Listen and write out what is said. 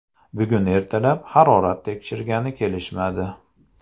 Bugun ertalab harorat tekshirgani kelishmadi.